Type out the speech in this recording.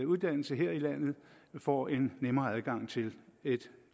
uddannelse her i landet får en nemmere adgang til et